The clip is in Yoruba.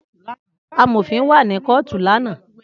Amofin wa ni kootu lana.